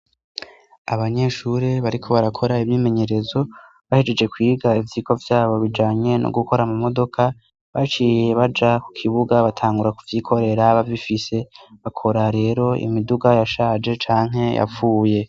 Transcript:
Abanyeshuri bariko barakora ivyimenyerezo bahejeje kwiga ivyiko vyabo bijanye no gukora amu modoka baciye baja ku kibuga batangura ku vyikorera bavifise bakora rero imiduga yashaje canke yapfuye.